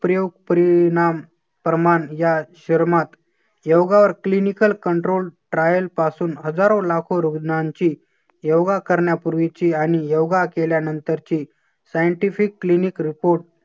प्रयोग परिणाम प्रमाण या शर्मात योगावर clinical control trial पासून हजारो लाखो रुग्णांची योगा करण्यापूर्वीची आणि योगा केल्यानंतर ची scientific clinic report